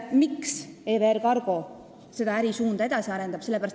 Miks EVR Cargo seda ärisuunda edasi arendab?